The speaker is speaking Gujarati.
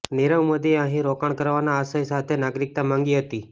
નિરવ મોદીએ અહીં રોકાણ કરવાના આશય સાથે નાગરીકતા માંગી હતી